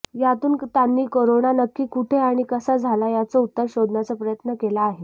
यातून त्यांनी करोना नक्की कुठे आणि कसा झाला याचं उत्तर शोधण्याचा प्रयत्न केला आहे